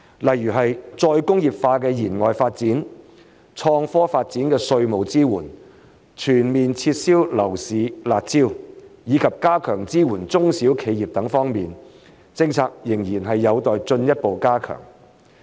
例如再工業化的延外發展、創科發展的稅務支援、全面撤銷樓市"辣招"，以及加強支援中小企業等方面，政策仍然有待進一步加強。